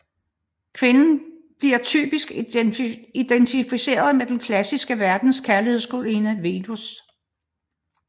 Kvinden bliver typisk identificeret med den klassiske verdens kærlighedsgudinde Venus